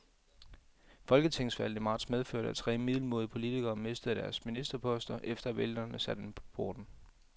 Folketingsvalget i marts medførte, at tre middelmådige politikere mistede deres ministerposter, efter at vælgerne satte dem på porten.